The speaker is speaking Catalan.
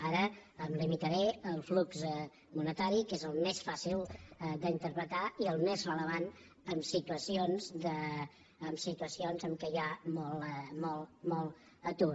ara em limitaré al flux monetari que és el més fàcil d’interpretar i el més rellevant en situacions en què hi ha molt atur